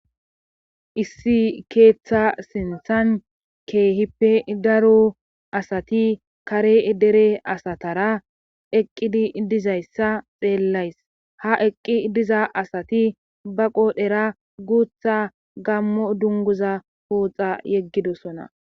issi keeththa sinthan keehippe daro asati kare dere asatara eqqidi dizayssa xeellays ha eqqi diza asati ba qoodhera guutha gammo dunguza pooxa yeggidosona